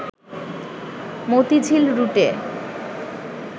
মতিঝিল রুটে